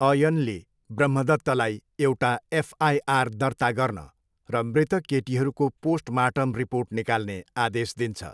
अयनले ब्रह्मदत्तलाई एउटा एफआइआर दर्ता गर्न र मृतक केटीहरूको पोस्टमार्टम रिपोर्ट निकाल्ने आदेश दिन्छ।